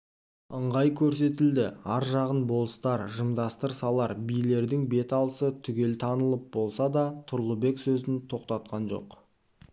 ыңғай көрсетілді ар жағын болыстар жымдастыр салар билердің бет алысы түгел танылып болса да тұрлыбек сезін тоқтатқан жоқ